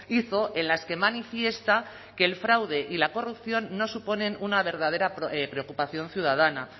hizo en las que manifiesta que el fraude y la corrupción no suponen una verdadera preocupación ciudadana